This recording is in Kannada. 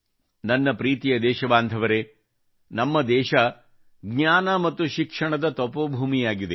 ನನ್ನ ಪ್ರೀತಿಯ ದೇಶಬಾಂಧವರೇ ಭಾರತ ಜ್ಞಾನ ಮತ್ತು ಶಿಕ್ಷಣದ ತಪೋಭೂಮಿಯಾಗಿದೆ